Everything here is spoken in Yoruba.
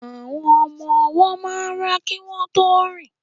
Àwọn ọmọ ọwọ́ máa ń rá kí wọ́n tó rìn